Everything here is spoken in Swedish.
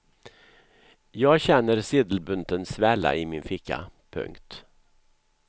Jag känner sedelbunten svälla i min ficka. punkt